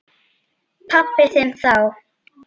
Pabba þinn þá.